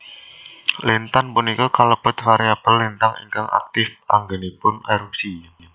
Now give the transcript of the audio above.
Lintan punika kalebet variabel lintang ingkang aktip anggenipun erupsi